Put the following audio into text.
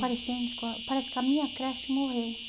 Parece que a minha creche morreu.